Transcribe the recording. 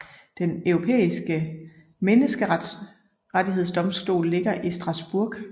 Den Europæiske Menneskerettighedsdomstol ligger i Strasbourg